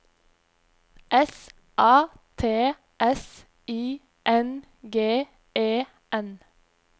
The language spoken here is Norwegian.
S A T S I N G E N